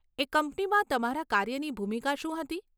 એ કંપનીમાં તમારા કાર્યની ભૂમિકા શું હતી?